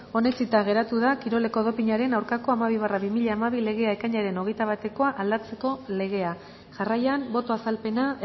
onetsita geratu da kiroleko dopinaren aurkako hamabi barra bi mila hamabi legea ekainaren hogeita batekoa aldatzeko legea jarraian boto azalpena